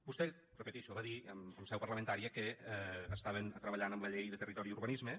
vostè ho repetixo va dir en seu parlamentària que estaven treballant en la llei de territori i urbanisme